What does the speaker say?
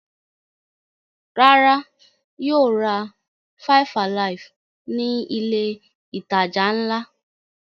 Rárá, yóò ra five-alive ní ilé-ìtajà ńlá.